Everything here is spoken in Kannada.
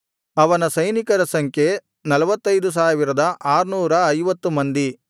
ಅವನ ಸೈನಿಕರ ಸಂಖ್ಯೆ 45650 ಮಂದಿ